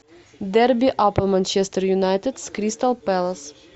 дерби апл манчестер юнайтед с кристал пэлас